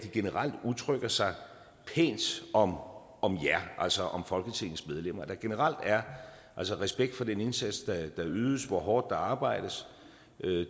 generelt udtrykker sig pænt om om jer altså om folketingsmedlemmerne der generelt er respekt for den indsats der ydes for hvor hårdt der arbejdes